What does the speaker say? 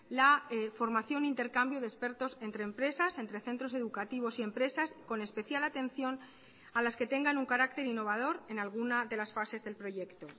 la formación intercambio de expertos entre empresas entre centros educativos y empresas con especial atención a las que tengan un carácter innovador en alguna de las fases del proyecto